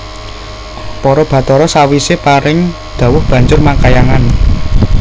Para bathara sawise paring dhawuh banjur makhayangan